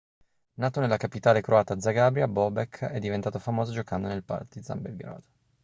nato nella capitale croata zagabria bobek è diventato famoso giocando nel partizan belgrado